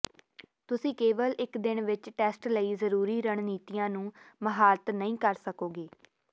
ਤੁਸੀਂ ਕੇਵਲ ਇੱਕ ਦਿਨ ਵਿੱਚ ਟੈਸਟ ਲਈ ਜ਼ਰੂਰੀ ਰਣਨੀਤੀਆਂ ਨੂੰ ਮਹਾਰਤ ਨਹੀਂ ਕਰ ਸਕੋਗੇ